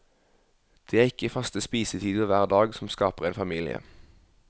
Det er ikke faste spisetider hver dag som skaper en familie.